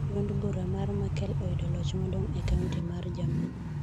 Duond bura mar Merkel oyudo loch maduong e kaunti mar Jerman